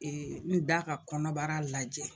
N da ka kɔnɔbara lajɛ